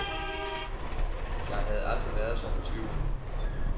Jeg havde aldrig været så fortvivlet.